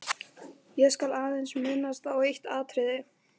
Ég skal aðeins minnast á eitt atriði.